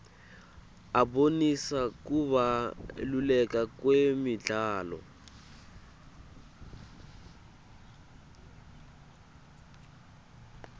abonisa kubaluleka kwemidlalo